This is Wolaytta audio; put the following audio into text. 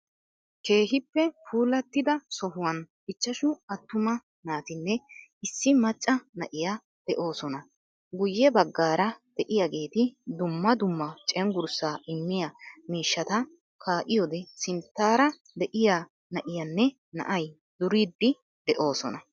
Keehippe puulaatida sohuwaan ichchaashu attuma naatinne issi maacca naa'iya de'osoona. Guuye bagaara de'iyageeti dumma dumma ceenggurssa immiyaa mishshaata ka'iyoode sinttaara de'iyaa naa'ayinne naa'iya duuriddi de'oosona.